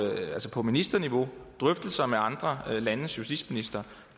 ministerniveau og med andre landes justitsministre